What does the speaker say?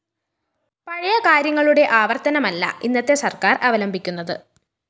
പഴയ കാര്യങ്ങളുടെ ആവര്‍ത്തനമല്ല ഇന്നത്തെ സര്‍ക്കാര്‍ അവലംബിക്കുന്നത്